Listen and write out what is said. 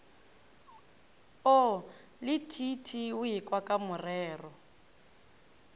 o le t t oekwakamorero